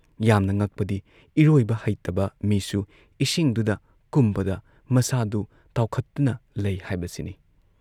ꯌꯥꯝꯅ ꯉꯛꯄꯗꯤ ꯏꯔꯣꯏꯕ ꯍꯩꯇꯕ ꯃꯤꯁꯨ ꯏꯁꯤꯡꯗꯨꯗ ꯀꯨꯝꯕꯗ ꯃꯁꯥꯗꯨ ꯇꯥꯎꯈꯠꯇꯨꯅ ꯂꯩ ꯍꯥꯏꯕꯁꯤꯅꯤ ꯫